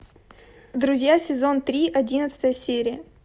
друзья сезон три одиннадцатая серия